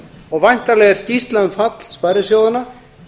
og væntanleg er skýrsla um fall sparisjóðanna